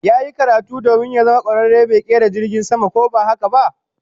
Yayi karatu domin ya zama kwararen mai kera jirgin sama ko ba haka ba?